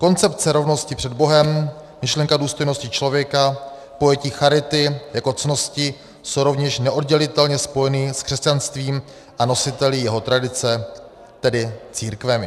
Koncepce rovnosti před Bohem, myšlenka důstojnosti člověka, pojetí charity jako ctnosti jsou rovněž neoddělitelně spojeny s křesťanstvím a nositeli jeho tradice, tedy církvemi.